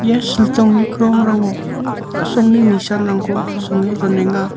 ia siltongni krongrango a·songni nisanrangko songe donenga.